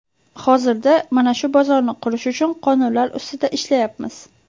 Hozirda mana shu bozorni qurish uchun qonunlar ustida ishlayapmiz.